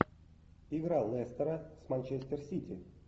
игра лестера с манчестер сити